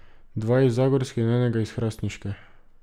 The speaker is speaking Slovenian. Dva iz zagorske in enega iz hrastniške.